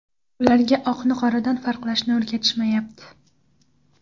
Ularga oqni qoradan farqlashni o‘rgatishmayapti.